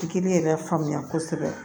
Tigi yɛrɛ faamuya kosɛbɛ